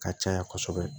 Ka caya kosɛbɛ